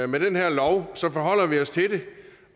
med det her lovforslag forholder vi os til det